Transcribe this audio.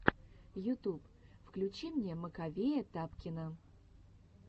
ютуб включи мне маковея тапкина